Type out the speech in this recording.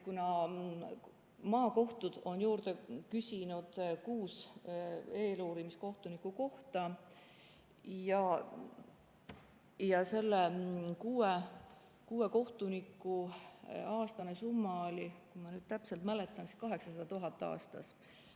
Maakohtud on juurde küsinud kuus eeluurimiskohtuniku kohta ja kuue kohtuniku aastane summa oli, kui ma nüüd täpselt mäletan, 800 000 eurot aastas.